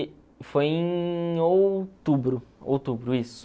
Foi em outubro, outubro, isso.